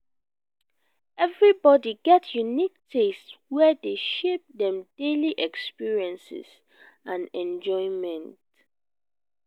everybody get unique taste wey dey shape dem daily experiences and enjoyment.